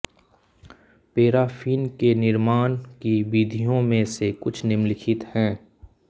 paraffin के निर्माण की विधियों में से कुछ निम्नलिखित हैं